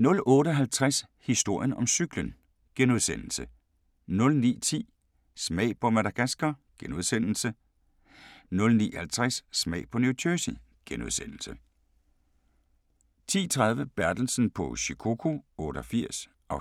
08:50: Historien om cyklen * 09:10: Smag på Madagaskar * 09:50: Smag på New Jersey * 10:30: Bertelsen på Shikoku 88 (7:10)*